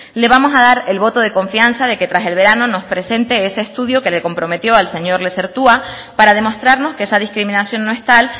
le vamos a dar el voto de confianza de que tras el verano nos presente ese estudio que le comprometió al señor lezertua para demostrarnos que esa discriminación no es tal